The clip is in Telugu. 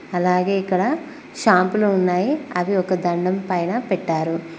అలాగే ఇక్కడ షాంపులు ఉన్నాయి అవి ఒక దండెం పైన పెట్టారు.